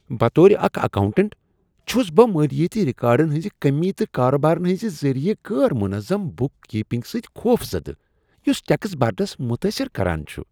بطور اکھ اکاؤنٹنٹ، چھس بہ مالیٲتی ریکارڈن ہنٛز کمی تہٕ کاربارن ہنٛزِ ذریع غیر منظم بُک کیپنگ سۭتۍ خوفزدہ یس ٹیکس برنس متٲثر کران چھ۔